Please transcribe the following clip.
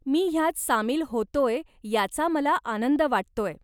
मी ह्यात सामील होतोय याचा मला आनंद वाटतोय.